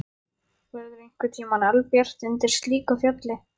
Verður einhverntíma albjart undir slíku fjalli?